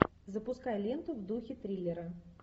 запускай ленту в духе триллера